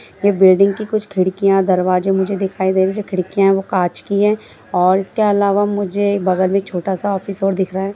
ये बिल्डिंग की कुछ खिड़कियां दरवाजे मुझे नजर आ रहे हैं जो खिड़कियां है वो कांच की है और इसके अलावा मुझे बगल में एक छोटा ऑफिस और दिख रहा है।